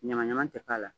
Ɲagaɲaga tɛ k'a la